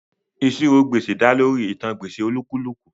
Ìṣirò gbèsè dá lórí ìtàn gbèsè olúkúlùkù